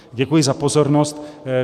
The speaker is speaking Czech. Děkuji za pozornost.